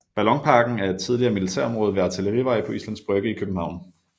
Ballonparken er et tidligere militærområde ved Artillerivej på Islands Brygge i København